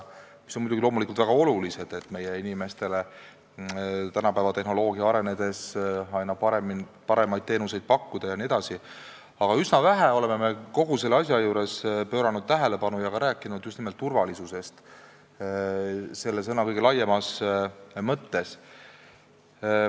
Muidugi on väga oluline, et meie inimestele saab tehnoloogia arenedes aina paremaid teenuseid pakkuda jne, aga üsna vähe oleme pööranud tähelepanu ja ka rääkinud just nimelt turvalisusest selle sõna kõige laiemas mõttes.